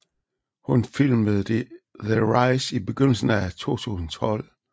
Hun filmede The Rise i begyndelsen af 2012